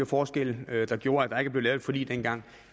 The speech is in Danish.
forskelle der gjorde at der ikke blev lavet et forlig dengang